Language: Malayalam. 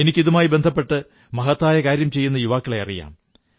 എനിക്ക് ഇതുമായി ബന്ധപ്പെട്ട് മഹത്തായ കാര്യം ചെയ്യുന്ന യുവാക്കളെ അറിയാം